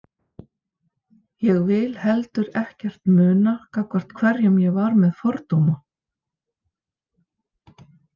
Ég vil heldur ekkert muna gagnvart hverjum ég var með fordóma.